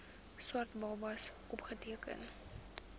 swart babas opgeteken